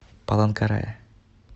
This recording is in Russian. паланкарая